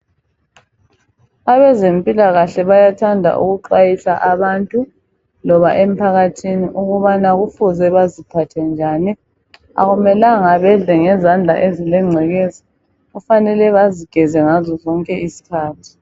Abezempilakahle bayathanda ukuxwayisa abantu loba emphakathini ukubana kufuze baziphathe njani .Akumelanga bedle ngezandla ezilengcekeza kufanele bazigeze ngazo zonke izikhathi.